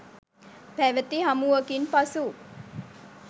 පැවති හමුවකින් පසු